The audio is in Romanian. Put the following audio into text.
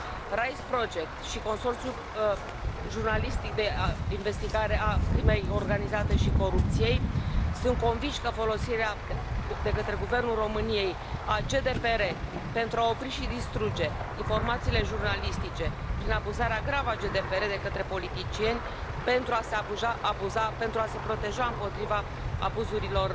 RISE Project și Consorțiul jurnalistic de investigare a crimei organizate și corupției sunt convinși că folosirea de către Guvernul României a GDPR pentru a opri și distruge informațiile jurnalistice prin abuzarea gravă a GDPR de către politicieni pentru a se abuza, pentru a se proteja împotriva abuzurilor